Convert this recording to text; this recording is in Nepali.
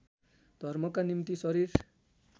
धर्मका निम्ति शरीर